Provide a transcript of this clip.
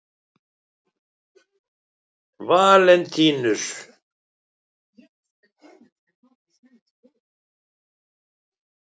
Valentínus